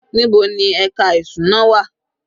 Níbo ni ẹka ìṣúná wà?